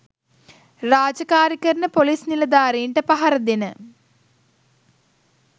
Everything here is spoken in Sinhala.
රාජකාරි කරන පොලිස් නිලධාරින්ට පහර දෙන